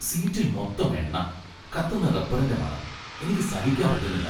സീറ്റിൽ മൊത്തം എണ്ണ. കത്തുന്ന റബ്ബറിന്റെ മണം. എനിക്ക് സഹിക്കാൻ പറ്റുന്നില്ല .